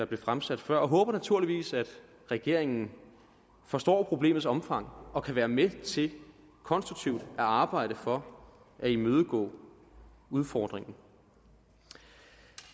blev fremsat før og håber naturligvis at regeringen forstår problemets omfang og kan være med til konstruktivt at arbejde for at imødegå udfordringen